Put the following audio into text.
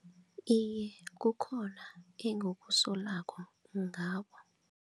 Iye, kukhona engikusolako ngabo.